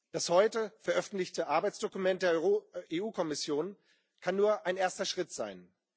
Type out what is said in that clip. Das heute veröffentlichte Arbeitsdokument der EU Kommission kann nur ein erster Schritt sein.